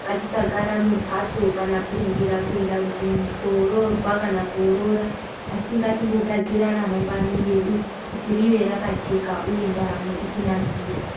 Ngatisagara mumphatso kana kurumbira kuenda koroorwa kana koorora. Asi ngatimbogadzira ramangwani redu, kuti rive rakajeka uye ndaramo itinakire.